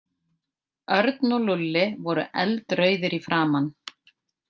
Örn og Lúlli voru eldrauðir í framan.